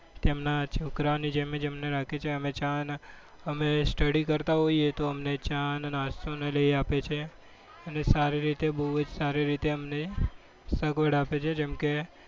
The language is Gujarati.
તેમના છોકરાઓને જેમ જ અમને રાખે છે. અમે study કરતા હોઈએ ત્યારે અમને ચાને નાસ્તો લઈ આપે છે અને સારી રીતે બહુ જ સારી રીતે અમને સગવડ આપે છે. જેમકે,